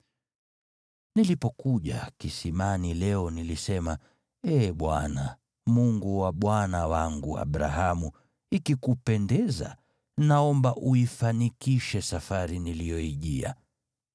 “Nilipokuja kisimani leo nilisema, ‘Ee Bwana , Mungu wa bwana wangu Abrahamu, ikikupendeza, naomba uifanikishe safari niliyoijia.